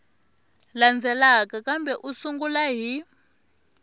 landzelaka kambe u sungula hi